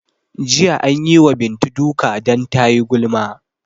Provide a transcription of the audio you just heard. Jiya anyi wa Bintu duka dan tayi gulma